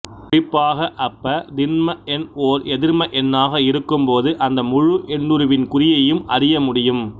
குறிப்பாக அப்பதின்ம எண் ஓர் எதிர்ம எண்ணாக இருக்கும்போது அந்த முழு எண்ணுருவின் குறியையும் அறியமுடியும்